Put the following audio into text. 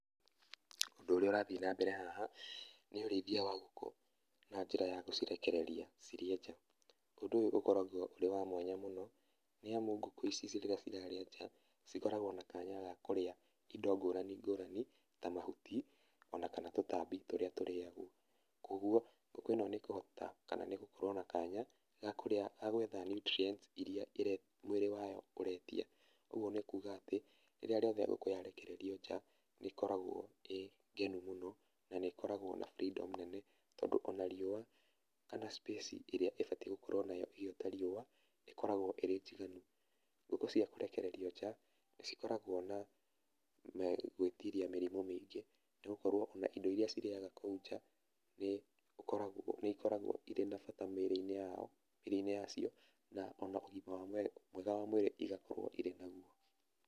Ũndũ ũrĩa ũrathiĩ na mbere haha , nĩ ũrĩithia wa ngũkũ na njĩra ya gũcirekereria cirĩe nja. Ũndũ ũyũ ũkoragwo ũrĩ wa mwanya nĩamungũkũ ici rĩrĩa cirarĩa nja ikoragwo na kanya ga kũrĩa indo ngũrani ngũrani ta mahuti ona kana tũtambi tũrĩa tũrĩagwo. Kũoguo, ngũkũ ĩno nĩ ĩkũhota kana nĩ ĩgũkorwo na kanya ga gwetha niutrienti ĩrĩa mwĩrĩ wayo ũretia . ũguo nĩ kuga atĩ, rĩrĩa ngũkũ yarekererio nja ĩkoragwo ĩ ngenu mũno na nĩ ĩkoragwo ĩna burendomu nene mũno tondũ ona riũa kana cipĩci ĩrĩa ĩbatiĩ gũkorwo nayo ĩgĩota riũa ĩkoragwo ĩrĩ njiganu. Ngũkũ cia kũrekererio nja nĩ cikoragwo na gwĩtiria mĩrimũ nĩ gũkorwo na indo iria cirĩaga kũu nja nĩ ikoragwo irĩ na bata mĩrĩ-inĩ yacio ona ũgima mwega wa mwĩrĩ igakorwo irĩ na guo.